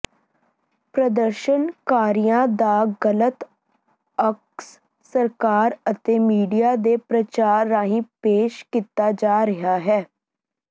ਪ੍ਰਦਰਸ਼ਨਕਾਰੀਆਂ ਦਾ ਗਲਤ ਅਕਸ ਸਰਕਾਰ ਅਤੇ ਮੀਡੀਆ ਦੇ ਪ੍ਰਚਾਰ ਰਾਹੀਂ ਪੇਸ਼ ਕੀਤਾ ਜਾ ਰਿਹਾ ਹੈ